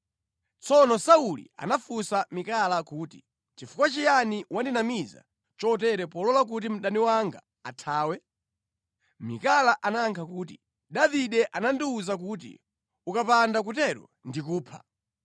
Tsono Sauli anafunsa Mikala kuti, “Nʼchifukwa chiyani wandinamiza chotere polola kuti mdani wanga athawe?” Mikala anayankha kuti, “Davide anandiwuza kuti, ‘Ukapanda kutero ndikupha.’ ”